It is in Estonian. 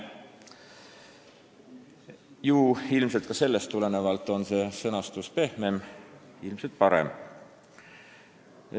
Ju ka sellest tulenevalt on see sõnastus pehmem ning ilmselt parem.